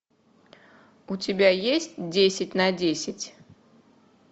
у тебя есть десять на десять